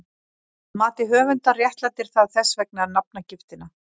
Að mati höfundar réttlætir það þess vegna nafngiftina.